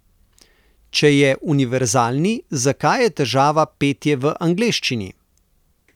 Če je univerzalni, zakaj je težava petje v angleščini?